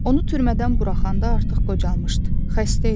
Onu türmədən buraxanda artıq qocalmışdı, xəstə idi.